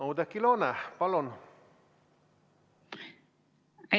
Oudekki Loone, palun!